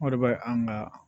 O de bɛ an ka